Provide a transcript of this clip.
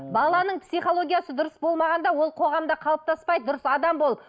баланың психологиясы дұрыс болмағанда ол қоғамда қалыптаспайды дұрыс адам болып